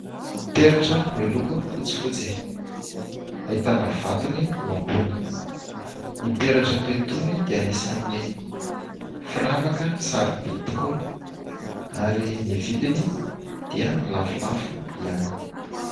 peratra miloko fotsifotsy; ahitana vatony eo ambony ;ny peratra toa itony dia anisan'ny firavaka sarobidy tokoa ary ny vidiny dia lafolafo ihany